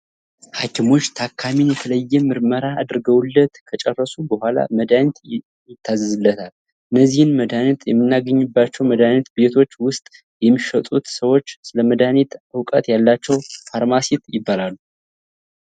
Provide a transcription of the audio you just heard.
ሃኪሞች ታካሚን የተለያየ ምርመራ አድርገውለት ከጨረሱ በኋላ መድሃኒት ይታዘዝለታል። እነዚህን መድሃኒት ምናገኝባቸው መድሃኒት ቤቶች ውስጥ የሚሸጡት ሰዎች ስለመድሃኒት እውቀት ያላቸው ፋርማሲስት ይባላሉ።